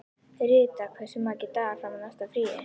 Rita, hversu margir dagar fram að næsta fríi?